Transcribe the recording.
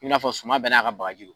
I n'a fɔ suma bɛ n'a ka bagaji don.